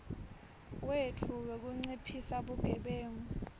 wetfu wekunciphisa bugebengu